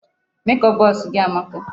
Make up box gị amaka.